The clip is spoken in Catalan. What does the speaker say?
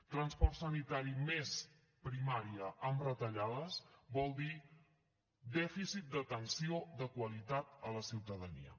transport sanitari més primària amb retallades vol dir dèficit d’atenció de qualitat a la ciutadania